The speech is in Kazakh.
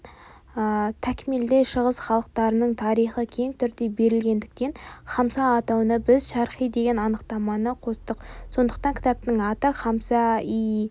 такмилде шығыс халықтарының тарихы кең түрде берілгендіктен хамса атауына біз шарқи деген анықтаманы қостық сондықтан кітаптың аты хамса-йи